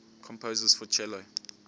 composers for cello